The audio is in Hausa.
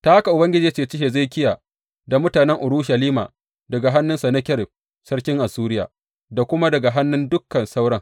Ta haka Ubangiji ya ceci Hezekiya da mutanen Urushalima daga hannun Sennakerib sarkin Assuriya da kuma daga hannun dukan sauran.